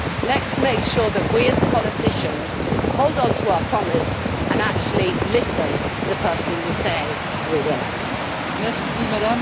Let us make sure that we, as politicians, hold on to our promise and actually listen to the person we say we will listen to.